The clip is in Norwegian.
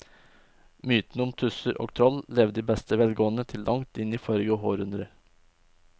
Mytene om tusser og troll levde i beste velgående til langt inn i forrige århundre.